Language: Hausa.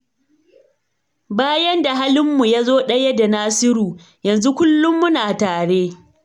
Bayan da halinmu ya zo ɗaya da nasiru, yanzu kullum muna tare.